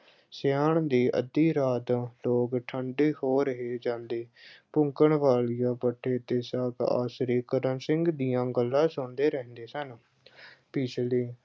ਸਿਆਲ ਦੀ ਅੱਧੀ ਰਾਤ ਲੋਕ ਠੰਡੇ ਹੋ ਰਹੇ ਜਾਂਦੇ, ਕੰਕਣਵਾਲੀਆ ਭੱਠੇ ਤੇ ਸਭ ਆਸਰੇ ਕਰਮ ਸਿੰਘ ਦੀਆਂ ਗੱਲਾਂ ਸੁਣਦਿਆਂ ਰਹਿੰਦੇ ਸਨ ਅਹ ਪਿਛਲੇ